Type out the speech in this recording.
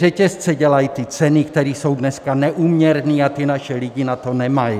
Řetězce dělají ty ceny, které jsou dneska neúměrné, a ti naši lidé na to nemají.